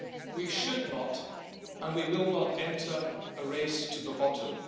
We should not, and we will not, enter a race to the bottom.